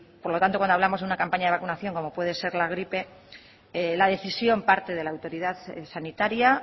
por lo tanto cuando hablamos de una campaña de vacunación como puede ser la gripe la decisión parte de la autoridad sanitaria